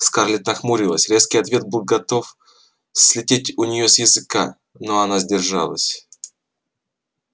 скарлетт нахмурилась резкий ответ готов был слететь у неё с языка но она сдержалась